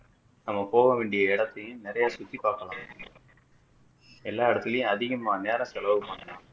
நம்ம போக வேண்டிய இடத்தையும் நிறைய சுத்தி பார்க்கலாம் எல்லா இடத்துலையும் அதிகமா நேரம் செலவு பண்ணலாம்